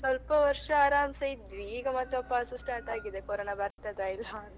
ಸ್ವಲ್ಪ ವರ್ಷ ಆರಾಮ್ಸೆ ಇದ್ವಿ, ಈಗ ಮತ್ತೆ ವಾಪಸ್ start ಆಗಿದೆ corona ಬರ್ತದ ಇಲ್ವಾ ಅಂತ .